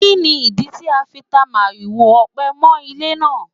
Kí ni ìdí tí a fi ta màrìwò ọ̀pẹ mọ́ ilé náà?